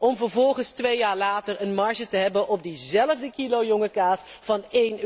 om vervolgens, twee jaar later, een marge te hebben op diezelfde kilo jonge kaas, van